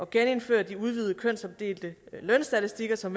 genindføre de udvidede kønsopdelte lønstatistikker som